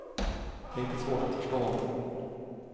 Det är inte svårt att förstå honom.